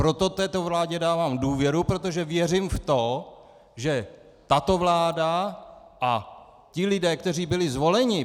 Proto této vládě dávám důvěru, protože věřím v to, že tato vláda a ti lidé, kteří byli zvoleni ...